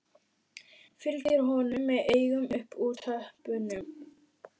Fylgir honum með augunum upp úr tröppunum.